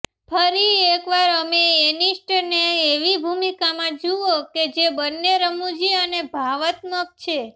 ફરી એક વાર અમે ઍનિસ્ટનને એવી ભૂમિકામાં જુઓ કે જે બંને રમૂજી અને ભાવનાત્મક છે